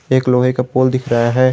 एक लोहे का पोल दिख रहा है।